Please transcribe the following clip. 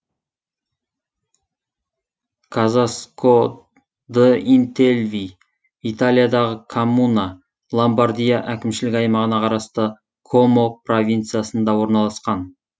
казаско д интельви италиядағы коммуна ломбардия әкімшілік аймағына қарасты комо провинциясында орналасқан